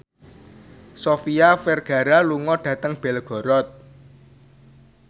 Sofia Vergara lunga dhateng Belgorod